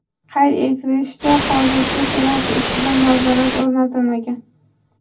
Qayd etilishicha, hozircha Senat ustidan nazorat o‘rnatilmagan.